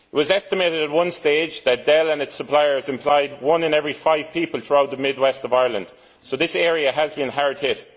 It was estimated at one stage that Dell and its suppliers employed one in every five people throughout the mid west of Ireland, so this area has been hard hit.